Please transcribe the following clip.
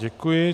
Děkuji.